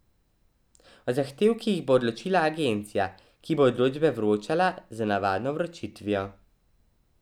O zahtevkih bo odločala agencija, ki bo odločbe vročala z navadno vročitvijo.